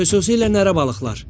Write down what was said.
Xüsusilə nərə balıqlar.